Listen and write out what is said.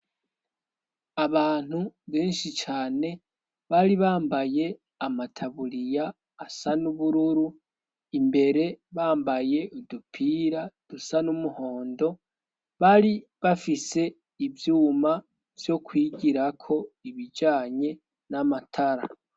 Abantu benshi cane bari bambaye amataburiya asa n'ubururu imbere bambaye udupira dusa n'umuhondo bari bafise ivyuma vyo kwigirako ibijanye n'amatara.